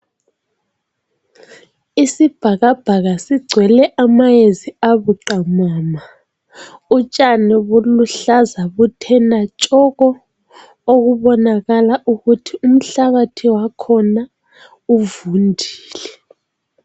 Isibhakabhaka zigcwele amayezi abuqamama utshani buluhlaza buthe tshoko okubonakala ukuthi umhlabathi wakhona uvundile.